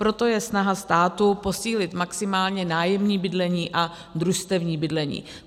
Proto je snaha státu posílit maximálně nájemní bydlení a družstevní bydlení.